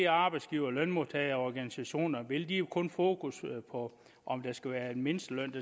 arbejdsgivere og lønmodtagerorganisationer vil de har jo kun fokus på om det skal være en mindsteløn